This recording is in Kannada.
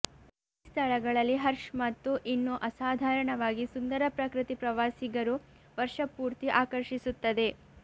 ಈ ಸ್ಥಳಗಳಲ್ಲಿ ಹರ್ಷ್ ಮತ್ತು ಇನ್ನೂ ಅಸಾಧಾರಣವಾಗಿ ಸುಂದರ ಪ್ರಕೃತಿ ಪ್ರವಾಸಿಗರು ವರ್ಷಪೂರ್ತಿ ಆಕರ್ಷಿಸುತ್ತದೆ